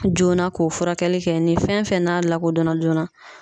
Joona k'o furakɛli kɛ .Ni fɛn fɛn n'a lakodɔn na joona